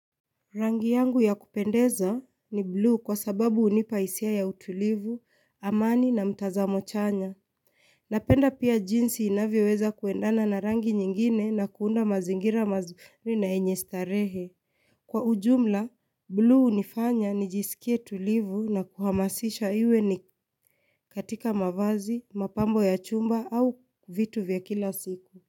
Rangi yangu ya kupendeza ni blue kwa sababu unipaisia ya utulivu, amani na mtazamo chanya. Napenda pia jinsi inavyo weza kuendana na rangi nyingine na kuunda mazingira mazuri na yenye starehe. Kwa ujumla, blue unifanya nijisikie tulivu na kuhamasisha iwe ni katika mavazi, mapambo ya chumba au vitu vya kila siku.